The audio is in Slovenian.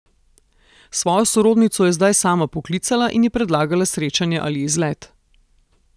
Svojo sorodnico je zdaj sama poklicala in ji predlagala srečanje ali izlet.